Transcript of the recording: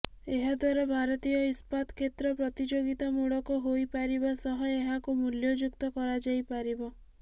ଏହା ଦ୍ୱାରା ଭାରତୀୟ ଇସ୍ପାତ କ୍ଷେତ୍ର ପ୍ରତିଯୋଗିତାମୂଳକ ହୋଇ ପାରିବା ସହ ଏହାକୁ ମୂଲ୍ୟଯୁକ୍ତ କରା ଯାଇ ପାରିବ